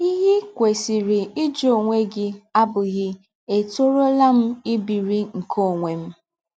Ihe i kwesịrị ịjụ ọnwe gị abụghị ètọrụọla m ibiri nke ọnwe m?